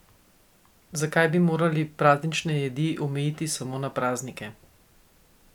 Zakaj bi morali praznične jedi omejiti samo na praznike?